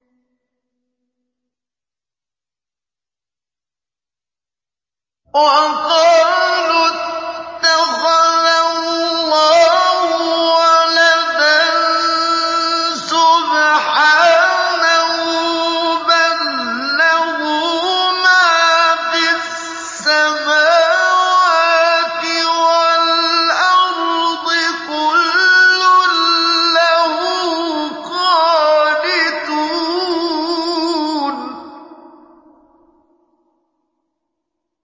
وَقَالُوا اتَّخَذَ اللَّهُ وَلَدًا ۗ سُبْحَانَهُ ۖ بَل لَّهُ مَا فِي السَّمَاوَاتِ وَالْأَرْضِ ۖ كُلٌّ لَّهُ قَانِتُونَ